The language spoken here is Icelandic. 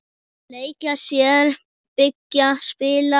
Leika sér- byggja- spila- perla